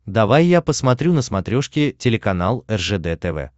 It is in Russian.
давай я посмотрю на смотрешке телеканал ржд тв